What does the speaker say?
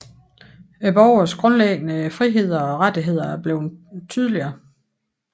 Borgernes grundlæggende friheder og rettigheder er blevet tydeligere